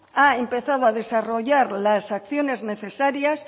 ha empezado a desarrollar las acciones necesarias